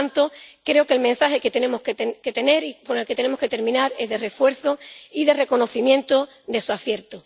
Por lo tanto, creo que el mensaje que tenemos que tener y con el que tenemos que terminar es de refuerzo y de reconocimiento de su acierto.